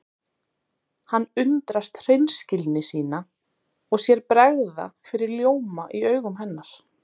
Hann undrast hreinskilni sína og sér bregða fyrir ljóma í augum hennar.